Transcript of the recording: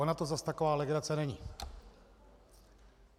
Ona to zas taková legrace není.